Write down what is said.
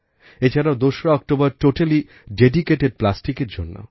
এছাড়াও দোসরা October totally dedicated প্লাস্টিকের জন্য